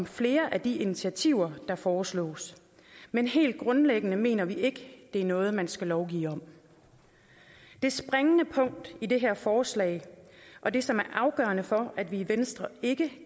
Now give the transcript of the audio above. flere af de initiativer der foreslås men helt grundlæggende mener vi ikke at det er noget man skal lovgive om det springende punkt i det her forslag og det som er afgørende for at vi i venstre ikke